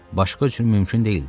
Başqa üçün mümkün deyildi.